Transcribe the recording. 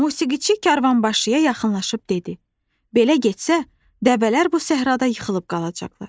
Musiqiçi karvanbaşıya yaxınlaşıb dedi: “Belə getsə, dəvələr bu səhrada yıxılıb qalacaqlar.